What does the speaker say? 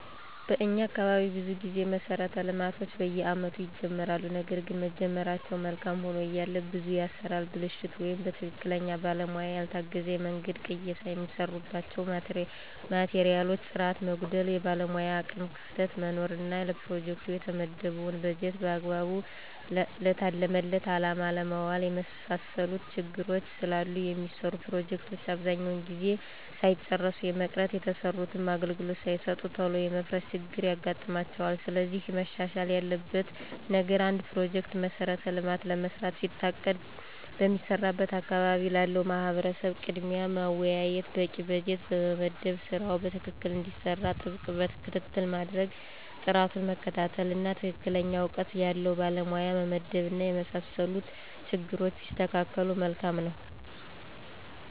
በኛ አካባቢ ብዙ ጊዜ መሠረተ ልማቶች በየአመቱ ይጀመራሉ ነገርግን መጀመራቸው መልካም ሆኖ እያለ ብዙ የአሠራር ብልሽት ወይም በትክክለኛ ባለሙያ ያልታገዘ የመንገድ ቅየሳ፣ የሚሰሩባቸው ማቴሪያሎች ጥራት መጓደል፣ የባለሙያ የአቅም ክፍተት መኖር እና ለፕሮጀክቱ የተመደበውን በጀት በአግባቡ ለታለመለት አላማ አለማዋል የመሳሰሉት ችግሮች ስላሉ የሚሰሩ ፕሮጀክቶች አብዛኛውን ጊዜ ሳይጨረሱ የመቅረት፣ የተሰሩትም አገልግሎት ሳይሰጡ ቶሎ የመፍረስ ችግር ይገጥማቸዋል። ስለዚህ መሻሻል ያለበት ነገር አንድ ፕሮጀክት(መሠረተ ልማት)ለመስራት ሲታቀድ በሚሰራበት አካባቢ ላለው ማህበረሰብ ቅድሚያ ማወያየት፣ በቂ በጀት መመደብ ስራው በትክክል እንዲሰራ ጥብቅ ክትትል ማድረግ፣ ጥራቱን መከታተል፣ እና ትክክለኛ እውቀት ያለው ባለሙያ መመደብ እና የመሳሰሉት ችግሮች ቢስተካከሉ መልካም ነው።